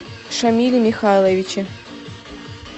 шамиле михайловиче